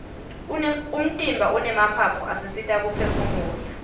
umtimba unemaphaphu asisita kuphefumula